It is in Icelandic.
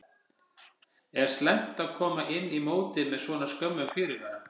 Er slæmt að koma inn í mótið með svona skömmum fyrirvara?